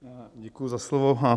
Děkuji za slovo.